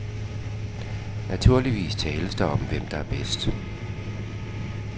Naturligvis tales der om, hvem der er bedst.